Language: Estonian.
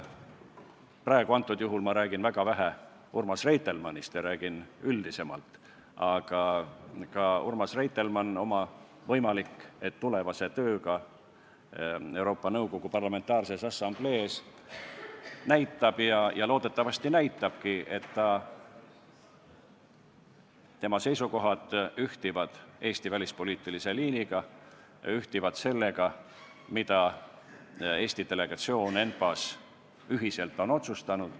Praegu ma räägin väga vähe Urmas Reitelmannist ja räägin üldisemalt, aga Urmas Reitelmann oma võimaliku tulevase tööga Euroopa Nõukogu Parlamentaarses Assamblees näitab – ja loodetavasti näitabki –, et tema seisukohad ühtivad Eesti välispoliitilise liiniga ja ühtivad sellega, mida Eesti delegatsioon ENPA-s ühiselt on otsustanud.